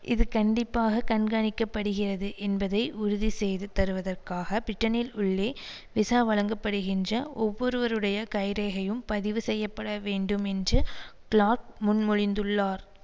இது கண்டிப்பாக கண்காணிக்கப்படுகிறது என்பதை உறுதி செய்து தருவதற்காக பிரிட்டனில் உள்ளே விசா வழங்கப்படுகின்ற ஒவ்வொருவருடைய கைரேகையும் பதிவு செய்ய பட வேண்டும் என்று கிளாக் முன்மொழிந்துள்ளார்